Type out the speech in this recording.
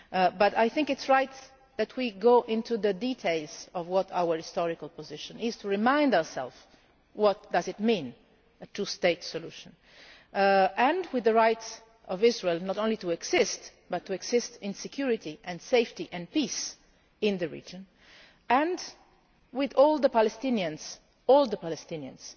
But I think it is right that we go into the details of what our historical position is, to remind ourselves what a two state solution means, with the right of Israel not only to exist but to exist in security and safety and peace in the region, and with all the Palestinians all the Palestinians,